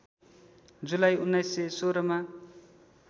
जुलाई १९१६ मा